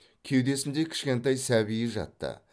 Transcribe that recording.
кеудесінде кішкентай сәбиі жатты